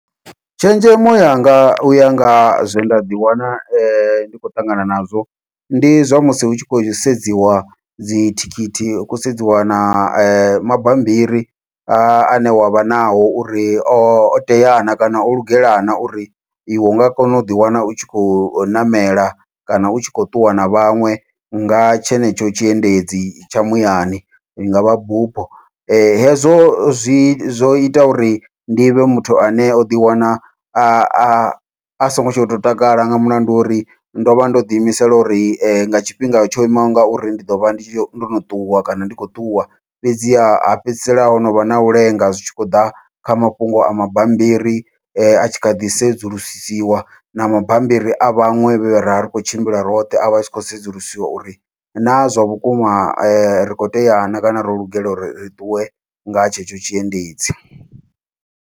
Tshenzhemo yanga uya nga zwe nda ḓiwana ndi khou ṱangana nazwo, ndi zwa musi hu tshi khou sedziwa dzi thikhithi hu khou sedziwa na mabambiri ane wavha nao uri o teaho na kana o lugela na uri iwe unga kona u ḓiwana u tshi khou ṋamela, kana utshi khou ṱuwa na vhaṅwe nga tshenetsho tshiendedzi tsha muyani i ngavha bupho. Hezwo zwi zwo ita uri ndi vhe muthu ane o ḓiwana a a songo tsha to takala nga mulandu wa uri ndo vha ndo ḓi imisela uri nga tshifhinga tsho imaho ngauri ndi ḓovha ndi tshi ndono ṱuwa kana ndi khou ṱuwa, fhedzi ha fhedzisela ho novha nau lenga zwi tshi khou ḓa kha mafhungo a mabambiri a tshi kha ḓi sedzulusiwa na mabambiri a vhaṅwe vhe ravha ri kho tshimbila roṱhe, avha a tshi khou sedzulusiwa uri na zwa vhukuma ri kho tea na kana ro lugela uri ri ṱuwe nga tshetsho tshiendedzi.